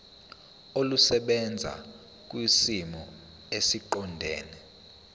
olusebenza kwisimo esiqondena